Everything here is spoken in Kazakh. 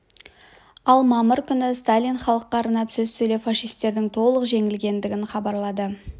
ал мамыр күні сталин халыққа арнап сөз сөйлеп фашисттердің толық жеңілгенін хабарлады